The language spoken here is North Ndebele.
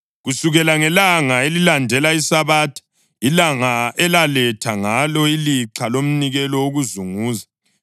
“ ‘Kusukela ngelanga elilandela iSabatha, ilanga elaletha ngalo ilixha lomnikelo wokuzunguza, balani amaviki ayisikhombisa agcweleyo.